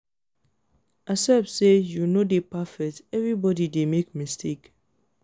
accept say yu no de perfect evribodi dey make mistake